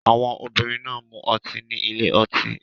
Àwọn obìnrin náà ń mu ọtí ní ilé ọtí